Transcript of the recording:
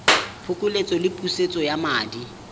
phokoletso le pusetso ya madi